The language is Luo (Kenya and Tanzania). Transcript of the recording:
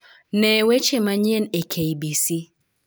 Ne weche manyien e k. b. c.